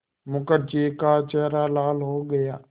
मुखर्जी का चेहरा लाल हो गया